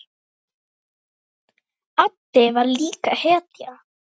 Addi var líka hetja.